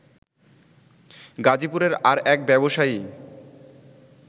গাজীপুরের আর এক ব্যবসায়ী